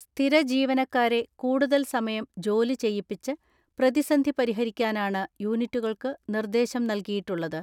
സ്ഥിരജീവനക്കാരെ കൂടുതൽ സമയം ജോലി ചെയ്യിപ്പിച്ച് പ്രതിസന്ധി പരിഹരിക്കാനാണ് യൂണിറ്റുകൾക്ക് നിർദ്ദേശം നൽകിയിട്ടുള്ളത്.